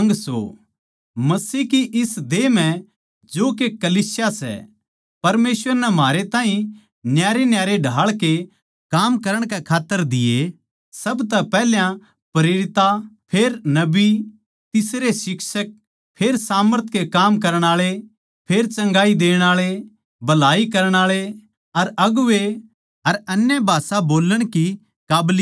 मसीह की इस देह म्ह जो के कलीसिया सै परमेसवर नै म्हारे ताहीं न्यारेन्यारे ढाळ के काम करण कै खात्तर दिया सब तै पैहल्या प्रेरितां फेर नबी तीसरे शिक्षक फेर सामर्थ के काम करण आळे फेर चंगाई देण आळे भलाई करण आळे अर अगुवें अर अन्य भाषा बोल्लण की काबलियत दी